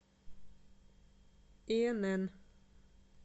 и н н